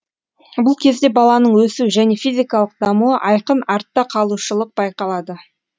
бұл кезде баланың өсу және физикалық дамуы айқын артта қалушылық байқалады